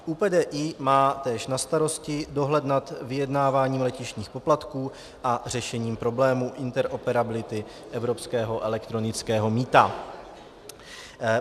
ÚPDI má též na starosti dohled nad vyjednáváním letištních poplatků a řešením problémů interoperability evropského elektronického mýta.